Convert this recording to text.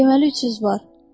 Deməli 300 var.